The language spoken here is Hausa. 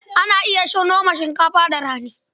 Ana iya noma shinkafa da rani.